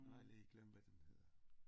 Jeg har lige glemt hvad den hedder